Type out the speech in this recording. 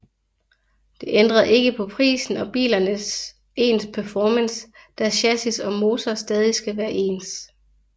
Det ændrede ikke på prisen og bilernes ens performance da chassis og motor stadig skal være ens